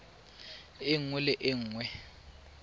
e nngwe le e nngwe